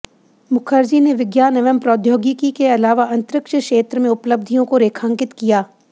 मुखर्जी ने विज्ञान एवं प्रौद्योगिकी के अलावा अंतरिक्ष क्षेत्र में उपलब्धियों को रेखांकित किया